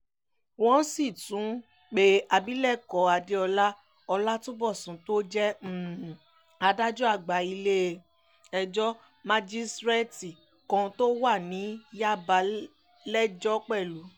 wọ́n sì tún pe abilékọ adéọlá ọlátúnbọ̀sùn tó jẹ́ adájọ́ àgbà ilé-ẹjọ́ májísreetí kan tó wà ní yàbà lẹ́jọ́ pẹ̀lú